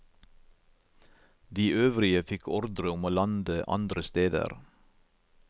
De øvrige fikk ordre om å lande andre steder.